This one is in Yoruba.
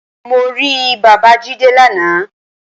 Mo rí bàbáa Jídé lana